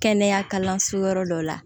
Kɛnɛya kalanso yɔrɔ dɔ la